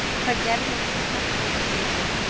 Hvað gerirðu sem knattspyrnustjóri